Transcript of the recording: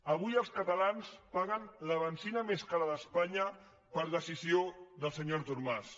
avui els catalans paguen la benzina més cara d’espanya per decisió del senyor artur mas